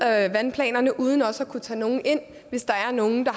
af vandplanerne uden også at kunne tage nogle ind hvis der er nogle